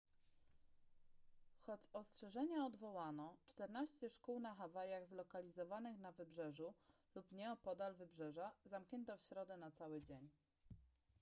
choć ostrzeżenia odwołano czternaście szkół na hawajach zlokalizowanych na wybrzeżu lub nieopodal wybrzeża zamknięto w środę na cały dzień